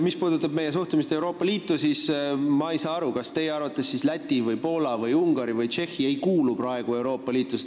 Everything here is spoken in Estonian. Mis puudutab meie suhtumist Euroopa Liitu, siis ma ei saa aru, kas teie arvates siis Läti, Poola, Ungari või Tšehhi ei kuulu praegu Euroopa Liitu.